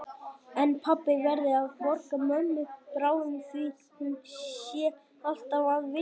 En pabbi verði að borga mömmu bráðum því hún sé alltaf að vinna.